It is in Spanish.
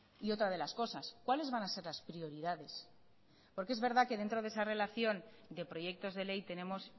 y otra de las cosas cuáles van a ser las prioridades porque es verdad que dentro de esa relación de proyectos de ley tenemos